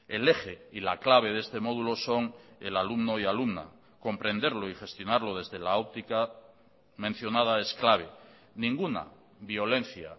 el eje y la clave de este módulo son el alumno y alumna comprenderlo y gestionarlo desde la óptica mencionada es clave ninguna violencia